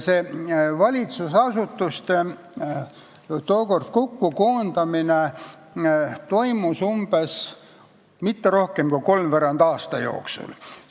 Valitsusasutuste tookordne koondamine kokkulepitud ministeeriumideks toimus umbes kolmveerand aasta jooksul.